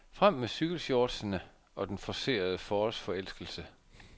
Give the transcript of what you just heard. Frem med cykelshortsene og den forcerede forårsforelskelse.